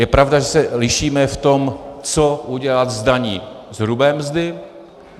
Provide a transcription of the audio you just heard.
Je pravda, že se lišíme v tom, co udělat s daní z hrubé mzdy.